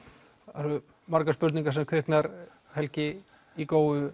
það eru margar spurningar sem kvikna helgi í Góu